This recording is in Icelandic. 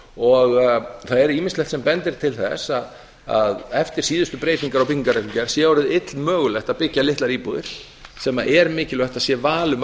og það er ýmislegt sem bendir til þess að eftir síðustu breytingar á byggingarreglugerð sé orðið illmögulegt að byggja litlar íbúðir sem er mikilvægt að sé val um að